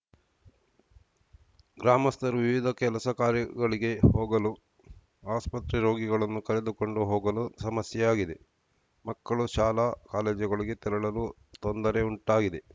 ಗ್ರಾಮಸ್ಥರು ವಿವಿಧ ಕೆಲಸ ಕಾರ್ಯಗಳಿಗೆ ಹೋಗಲು ಆಸ್ಪತ್ರೆ ರೋಗಿಗಳನ್ನು ಕರೆದುಕೊಂಡು ಹೋಗಲು ಸಮಸ್ಯೆಯಾಗಿದೆ ಮಕ್ಕಳು ಶಾಲಾ ಕಾಲೇಜುಗಳಿಗೆ ತೆರಳಲು ತೊಂದರೆ ಉಂಟಾಗಿದೆ